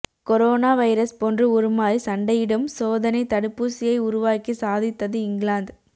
corona virus போன்று உருமாறி சண்டையிடும் சோதனை தடுப்பூசியை உருவாக்கி சாதித்தது இங்கிலாந்து